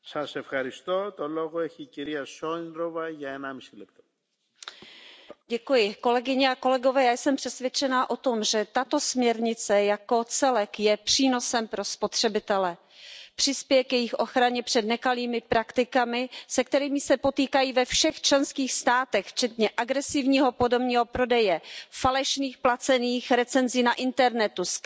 Pane předsedající, já jsem přesvědčena o tom, že tato směrnice jako celek je přínosem pro spotřebitele. Přispěje k jejich ochraně před nekalými praktikami, se kterými se potýkají ve všech členských státech, včetně agresivního podomního prodeje, falešných placených recenzí na internetu, skrytých reklam při vyhledávání zboží,